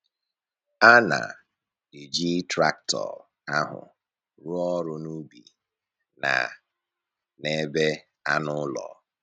A na-eji traktọ ahụ rụọ ọrụ n’ubi na n’ebe anụ ụlọ.